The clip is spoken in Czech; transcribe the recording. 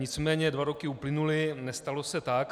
Nicméně dva roky uplynuly, nestalo se tak.